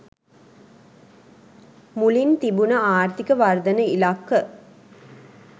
මුලින් තිබුණ ආර්ථික වර්ධන ඉලක්ක